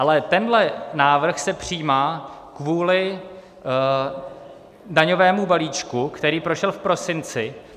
Ale tenhle návrh se přijímá kvůli daňovému balíčku, který prošel v prosinci.